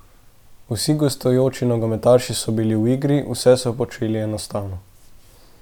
Vsi gostujoči nogometaši so bili v igri, vse so počeli enostavno.